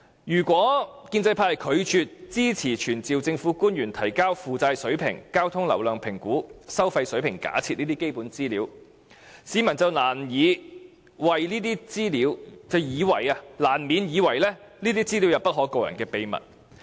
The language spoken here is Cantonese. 如果建制派拒絕支持傳召政府官員提交負債水平、交通流量評估及收費水平假設等基本資料，便難免會令市民認為這些資料有不可告人的秘密。